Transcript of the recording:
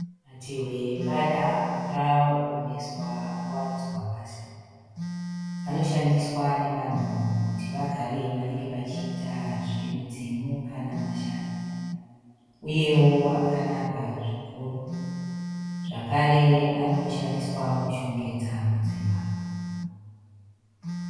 Matehwe embada akaomeswa akawaridzwa pasi. Anoshandiswa nevanhu kuti vagare vanenge vachiita zvemidzimu kana mashavi. Uyewo akanaka zvikuru zvakare anoshandiswa kushongedza mudzimba.